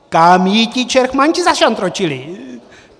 Kam jí ti čertmanti zašantročili?